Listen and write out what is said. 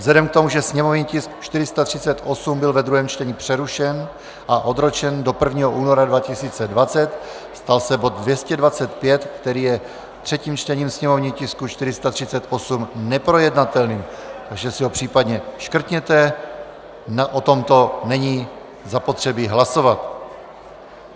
Vzhledem k tomu, že sněmovní tisk 438 byl ve druhém čtení přerušen a odročen do 1. února 2020, stal se bod 225, který je třetím čtením sněmovního tisku 438, neprojednatelným, takže si ho případně škrtněte, o tomto není zapotřebí hlasovat.